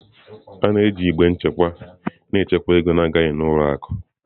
A na-eji igbe nchekwa na-echekwa ego na-agaghị n'ụlọ akụ.